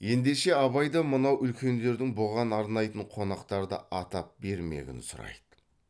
ендеше абай да мынау үлкендердің бұған арнайтын қонақтарды атап бермегін сұрайды